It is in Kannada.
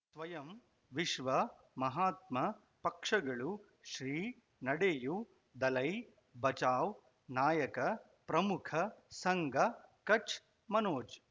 ಸ್ವಯಂ ವಿಶ್ವ ಮಹಾತ್ಮ ಪಕ್ಷಗಳು ಶ್ರೀ ನಡೆಯೂ ದಲೈ ಬಚೌ ನಾಯಕ ಪ್ರಮುಖ ಸಂಘ ಕಚ್ ಮನೋಜ್